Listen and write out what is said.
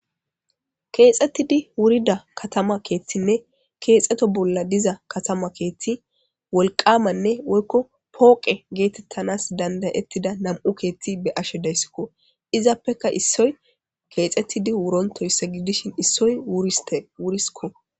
Keexxettidi wurida katama keethtinne keexeto bolla diza katama keethti wolqamanne woykko pooqe geetettanas dandayettida nam7u keethti be ashe deyssikko izappeka issoy keexxettidi wurontoyssa gidishin issoy wurisikko